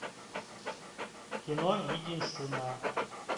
кино единственная